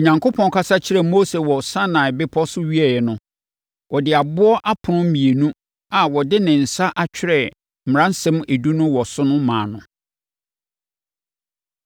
Onyankopɔn kasa kyerɛɛ Mose wɔ Sinai Bepɔ so wieeɛ no, ɔde aboɔ apono mmienu a ɔde ne nsa atwerɛ Mmaransɛm Edu no wɔ so no maa no.